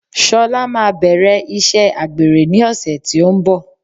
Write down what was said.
Sola maa bẹ̀rẹ̀ iṣẹ́ àgbèrè ní ọ̀sẹ̀ tí ó ń bọ̀.